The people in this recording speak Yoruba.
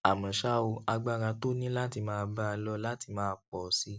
àmó ṣá o agbára tó ní láti máa bá a lọ láti máa pọ sí i